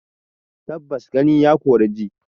Tabbas gani ya kori ji